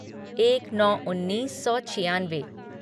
एक नौ उन्नीस सौ छियानवे